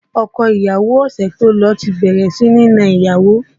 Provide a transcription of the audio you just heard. Ọkọ ìyàwó ọ̀sẹ̀ tó lọ ti bẹ̀rẹ̀ sí ní na ìyàwó